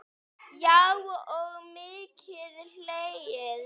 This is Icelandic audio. Já og mikið hlegið.